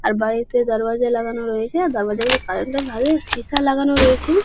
আর বাড়িতে দারওয়াজা লাগানো রয়েছে দারওয়াজা গুলোর কালার -টা ভালোই শিশা লাগানো রয়েছে।